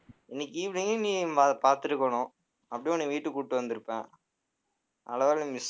இன்னைக்கு evening நீ அதை பார்த்திருக்கணும். அப்படியே உன்னை வீட்டுக்கு கூட்டிட்டு வந்துருப்பேன் நல்ல வேலை miss ஆ~